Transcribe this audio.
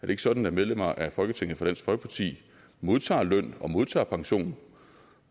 det ikke sådan at medlemmer af folketinget fra dansk folkeparti modtager løn og modtager pension